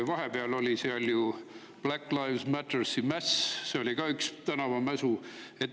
Vahepeal oli seal ju Black Lives Matteri mäss, see oli ka üks tänavamäsu.